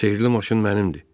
Sehrli maşın mənimdir.